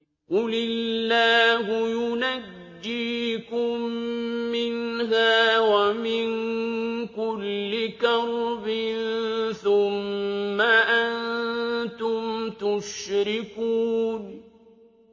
قُلِ اللَّهُ يُنَجِّيكُم مِّنْهَا وَمِن كُلِّ كَرْبٍ ثُمَّ أَنتُمْ تُشْرِكُونَ